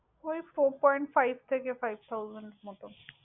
ঐ fourpoint five থেকে five thousand মত।